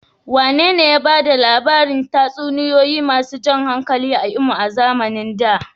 Wanene ya ba da labarin tatsuniyoyi masu jan hankali a Imo a zamanin da?